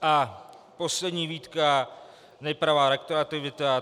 A poslední výtka: nepravá retroaktivita.